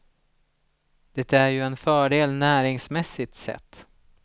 Det är ju en fördel näringsmässigt sett.